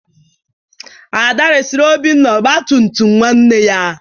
Ada resịrị Obinna ọgba tum tum nwanne ya